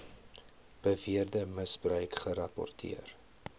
beweerde misbruik gerapporteer